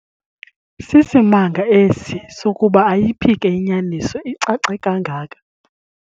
Sisimanga esi sokuba ayiphike inyaniso icace kangaka.